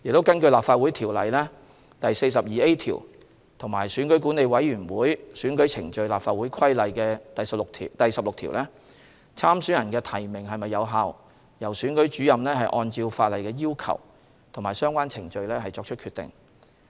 根據《立法會條例》第 42A 條和《選舉管理委員會規例》第16條，參選人的提名是否有效，由選舉主任按照法例的要求及相關程序作出決定。